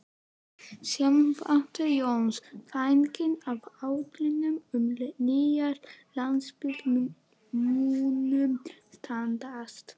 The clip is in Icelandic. Sighvatur Jónsson: Þannig að áætlanir um nýjan Landspítala munu standast?